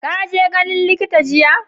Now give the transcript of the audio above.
ka je ganin likita jiya?